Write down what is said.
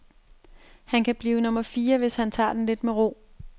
Han kan blive nummer fire, hvis han tager den lidt med ro.